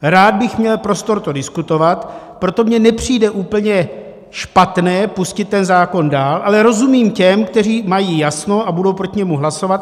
Rád bych měl prostor to diskutovat, proto mně nepřijde úplně špatné pustit ten zákon dál, ale rozumím těm, kteří mají jasno a budou proti němu hlasovat.